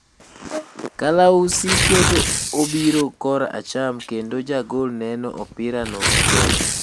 Kalausi keto obiro kora cham kendo Jagol neno opira no maber